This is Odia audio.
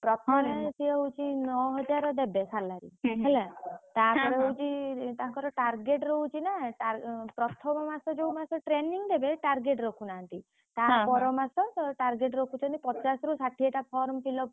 ପ୍ରଥମେ ସିଏ ହଉଛି ନଅ ହଜାର ଦେବେ salary ହେଲା ତା ପର ମାସ target ରଖୁଛନ୍ତି ପଚାଶରୁ ଷାଠିଏଟା form fill up ।